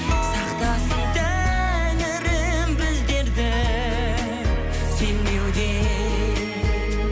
сақтасын тәңірім біздерді сенбеуден